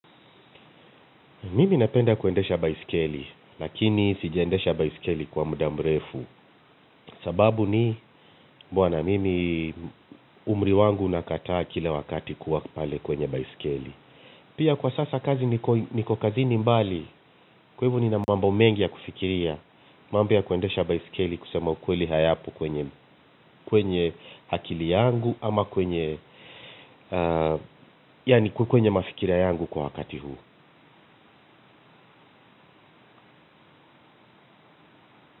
Mimi napenda kuendesha baisikeli, lakini sijaendesha baisikeli kwa muda mrefu. Sababu ni bwana, mimi umriwangu nakataa kile wakati kuwa pale kwenye baisikeli. Pia kwa sasa kazi niko kazini mbali, kwa hivo nina mambo mengi ya kufikiria. Mambo ya kuendesha baisikeli kusema ukweli hayapo kwenye akili yangu ama kwenye, yani kwenye mafikira yangu kwa wakati huu.